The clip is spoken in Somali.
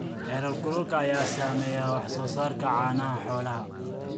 Heerkulka ayaa saameeya wax soo saarka caanaha xoolaha.